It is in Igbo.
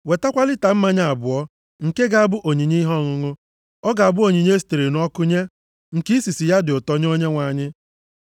Wetakwa lita mmanya abụọ nke ga-abụ onyinye ihe ọṅụṅụ. Ọ ga-abụ onyinye e sitere nʼọkụ nye, nke isisi ya dị ụtọ nye Onyenwe anyị.